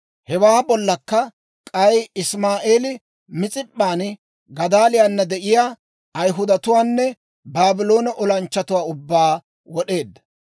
Hewaa bollakka k'ay Isimaa'eeli Mis'ip'p'an Gadaaliyaana de'iyaa Ayhudatuwaanne Baabloone olanchchatuwaa ubbaa wod'eedda.